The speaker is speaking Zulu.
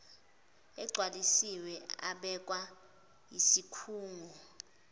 agcwaliswe abekwa yisikhungo